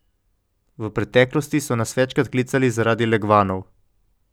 V preteklosti so nas večkrat klicali zaradi legvanov.